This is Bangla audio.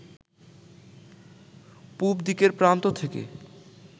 পুবদিকের প্রান্ত থেকে